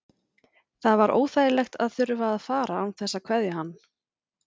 Það var óþægilegt að þurfa að fara án þess að kveðja hann.